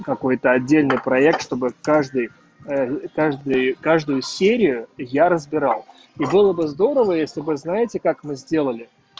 какой-то отдельный проект чтобы каждый каждый каждую серию я разбирал и было бы здорово если вы знаете как мы сделали